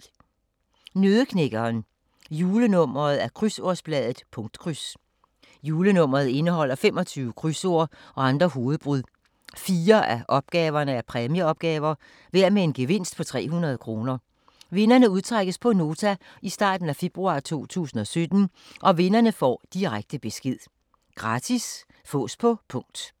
Nøddeknækkeren Julenummer af Krydsordsbladet Punktkryds. Julenummeret indeholder 25 krydsord og andre hovedbrud. 4 af opgaverne er præmieopgaver, hver med en gevinst på 300 kr. Vinderne udtrækkes på Nota i starten af februar 2017. Vinderne får direkte besked. Gratis. Fås på punkt